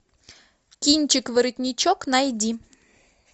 кинчик воротничок найди